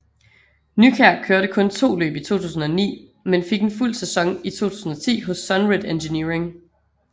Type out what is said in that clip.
Nykjær kørte kun to løb i 2009 men fik en fuld sæson i 2010 hos SUNRED Engineering